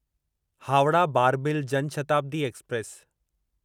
Howrah Barbil Jan Shatabdi express